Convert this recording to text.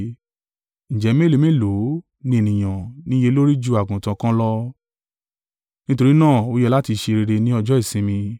Ǹjẹ́ mélòó mélòó ní ènìyàn ní iye lórí ju àgùntàn kan lọ! Nítorí náà ó yẹ láti ṣe rere ní ọjọ́ ìsinmi.”